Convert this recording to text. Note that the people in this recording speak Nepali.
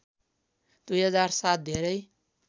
२००७ धेरै